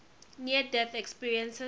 near death experiences